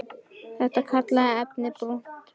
Hann kallaði efnið brúnt blý.